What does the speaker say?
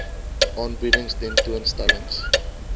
aanbiedings tentoon stellings